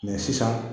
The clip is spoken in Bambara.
sisan